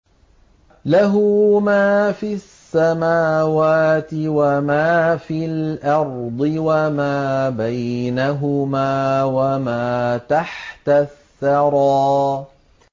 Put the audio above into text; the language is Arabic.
لَهُ مَا فِي السَّمَاوَاتِ وَمَا فِي الْأَرْضِ وَمَا بَيْنَهُمَا وَمَا تَحْتَ الثَّرَىٰ